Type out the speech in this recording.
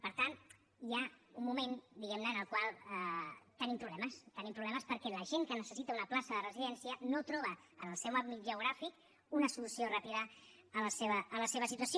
per tant hi ha un moment diguem ne en el qual tenim problemes tenim problemes perquè la gent que necessita una plaça de residència no troba en el seu àmbit geogràfic una solució ràpida a la seva situació